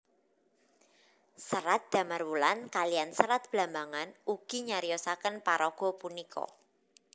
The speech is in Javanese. Serat Damarwulan kaliyan Serat Blambangan ugi nyariosaken paraga punika